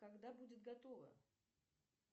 когда будет готово